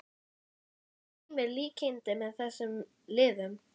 Sér Heimir líkindi með þessum liðum?